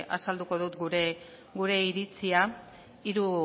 azalduko dut gure iritzia